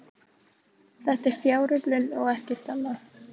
Þetta er fjáröflun og ekkert annað